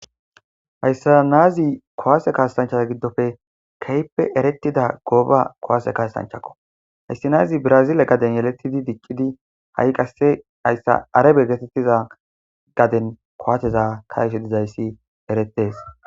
hayssa naazi kowaase kaastanchaza giddofe keyppe erettida gooba kowaase kaastanchakko hayssi naazi brazile gaden yeletidi diccidi ha7i qasse hayssa arabe getettiza gaden kowateza kaeshe dizayssi eretees